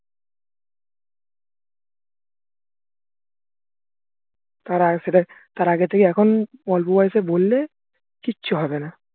তার সেটা তার আগে থেকে এখন অল্প বয়সে বললে কিচ্ছু হবে না